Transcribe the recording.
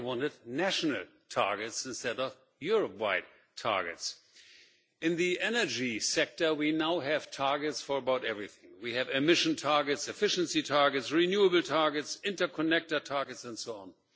They wanted national targets instead of Europe wide targets. In the energy sector, we now have targets for just about everything. We have emission targets, efficiency targets, renewable targets, interconnector targets and so on.